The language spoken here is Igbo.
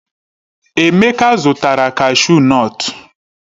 Emeka zụtara kashu nọtu.